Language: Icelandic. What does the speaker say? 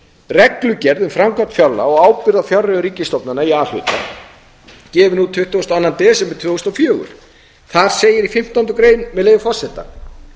reglugerð um framkvæmd fjárlaga og ábyrgð á fjárreiðum ríkisstofnana í a hluta gefin út tuttugasta og annan desember tvö þúsund og fjögur þar segir í fimmtándu grein með leyfi forseta